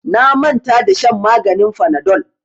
Na manta da shan maganin fanadol.